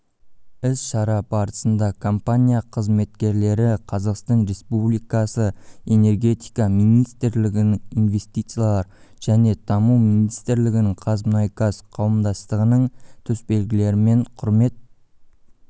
іс-шара барысында компания қыметкерлері қазақстан республикасы энергетика министрлігінің инвестициялар және даму министрлігінің қазмұнайгаз қауымдастығының төсбелгілерімен құрмет